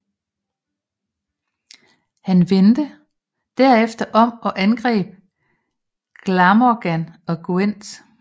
Han vendte derefter om og angreb Glamorgan og Gwent